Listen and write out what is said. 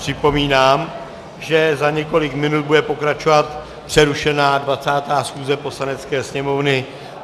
Připomínám, že za několik minut bude pokračovat přerušená 20. schůze Poslanecké sněmovny.